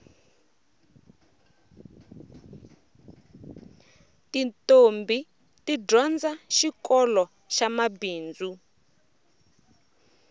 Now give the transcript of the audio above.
titombhi ti dyondza xikoloxa mabindzu